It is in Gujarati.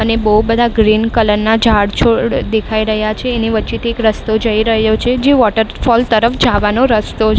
અને બહુ બધા ગ્રીન કલર ના ઝાડ છોડ દેખાઈ રહ્યા છે. એની વચ્ચેથી એક રસ્તો જઈ રહ્યો છે જે વોટરફૉલ તરફ જાવાનો રસ્તો--